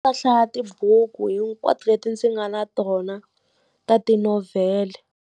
hlaya tibuku hinkwato leti ndzi nga na tona ta tinovhele.